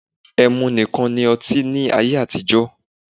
E̩mu nikan ni ọti ni aye atijọ